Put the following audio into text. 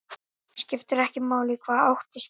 Skiptir ekki máli í hvaða átt er spyrnt.